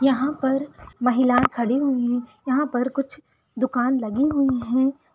यहाँ पर कुछ महिला खड़ी हुई है यहाँ पर कुछ दुकान लगी हुई है।